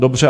Dobře.